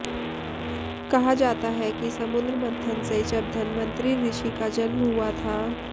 कहा जाता है कि समुद्र मंथन से जब धनवंतरि ऋषि का जन्म हुआ था